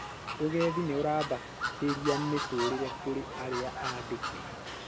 Ũgendi nĩ ũrambatĩria mĩtũrĩre kũrĩ arĩa aandike